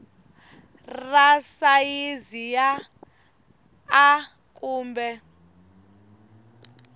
ra sayizi ya a kumbe